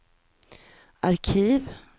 arkiv